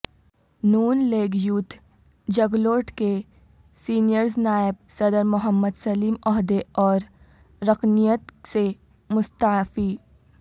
ن league youth Jaglot کے سینئرنائب صدرمحمدسلیم عہدے اوررکنیت سے مستعفی